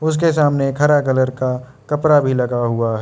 उसके सामने एक हरा कलर का कपरा भी लगा हुआ है।